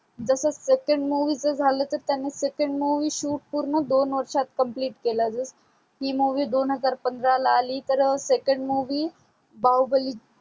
जस second movie च झाल तर त्यांनी second movie shoot पूर्ण दोन वर्षात complete केल जस ही movie दोन हजार पंधरा आली तर second movie बाहुबली